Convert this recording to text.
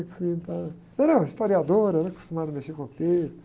Entendeu? Historiadora, né? Acostumada a mexer com o texto.